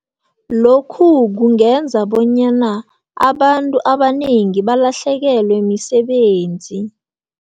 Lokhu kungenza bonyana abantu abanengi balahlekelwe misebenzi.